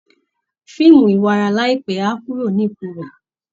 Fíìmù iwara láìpẹ́ á kúrò ní ipò rẹ̀